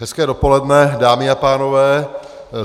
Hezké dopoledne, dámy a pánové.